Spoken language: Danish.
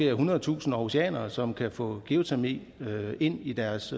ethundredetusind århusianere som kan få geotermi ind i deres